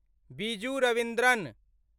Biju Ravindran